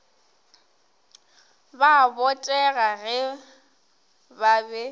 ba botega ge ba be